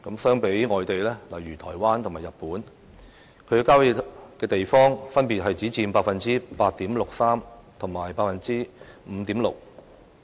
相比外地，例如台灣和日本，郊野地方分別只佔 8.63% 和 5.6%。